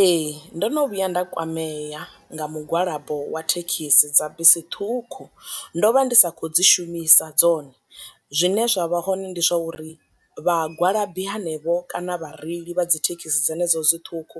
Ee ndo no vhuya nda kwamea nga mugwalabo wa thekhisi dza bisi ṱhukhu, ndo vha ndi sa khou dzi shumisa dzone, zwine zwa vha hone ndi zwa uri vha gwalabi hanevho kana vhareili vha dzi thekhisi dzi dzenedzo dzi ṱhukhu